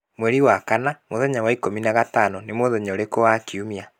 Mweri wa kanana mũthenya wa ikũmi na gatano nĩ mũthenya ũrĩkũ wakiumia